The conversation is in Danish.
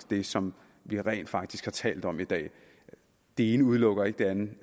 det som vi rent faktisk har talt om i dag det ene udelukker ikke det andet